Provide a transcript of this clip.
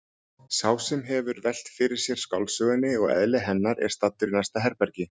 Sá sem hefur velt fyrir sér skáldsögunni og eðli hennar er staddur í næsta herbergi.